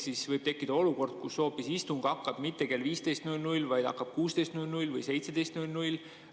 Siis võib tekkida olukord, kus istung ei hakka mitte kell 15.00, vaid hakkab 16.00 või 17.00.